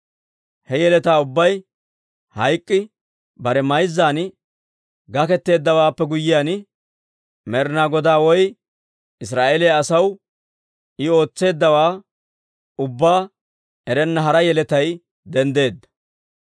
He yeletaa ubbay hayk'k'i bare mayzzan gakketteeddawaappe guyyiyaan, Med'inaa Godaa woy Israa'eeliyaa asaw I ootseeddawaa ubbaa erenna hara yeletay denddeedda.